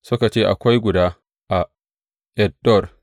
Suka ce, Akwai guda a En Dor.